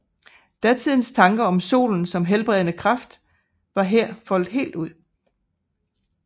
Datidens tanker om solens som helbredende kraft var her foldet helt ud